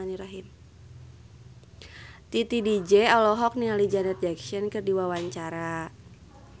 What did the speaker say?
Titi DJ olohok ningali Janet Jackson keur diwawancara